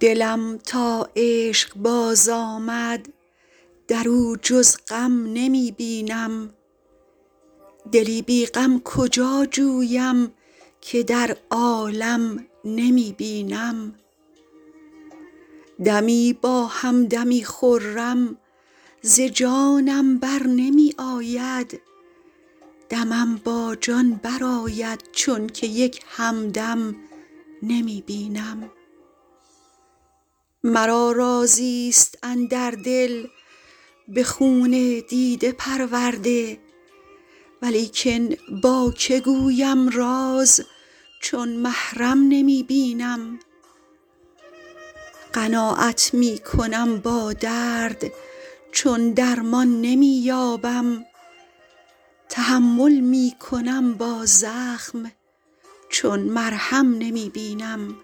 دلم تا عشق باز آمد در او جز غم نمی بینم دلی بی غم کجا جویم که در عالم نمی بینم دمی با هم دمی خرم ز جانم بر نمی آید دمم با جان برآید چون که یک هم دم نمی بینم مرا رازی ست اندر دل به خون دیده پرورده ولیکن با که گویم راز چون محرم نمی بینم قناعت می کنم با درد چون درمان نمی یابم تحمل می کنم با زخم چون مرهم نمی بینم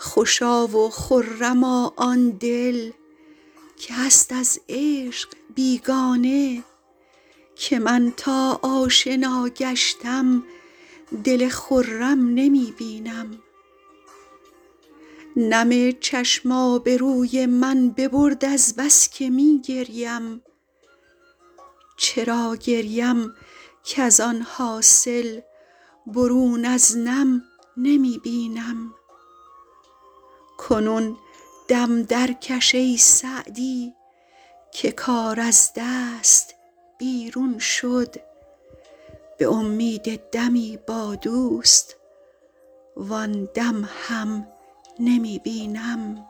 خوشا و خرما آن دل که هست از عشق بیگانه که من تا آشنا گشتم دل خرم نمی بینم نم چشم آبروی من ببرد از بس که می گریم چرا گریم کز آن حاصل برون از نم نمی بینم کنون دم درکش ای سعدی که کار از دست بیرون شد به امید دمی با دوست وآن دم هم نمی بینم